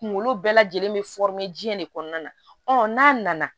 Kunkolo bɛɛ lajɛlen bɛ diɲɛ de kɔnɔna na ɔ n'a nana